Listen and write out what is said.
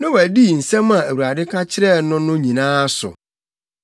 Noa dii nsɛm a Awurade ka kyerɛɛ no no nyinaa so.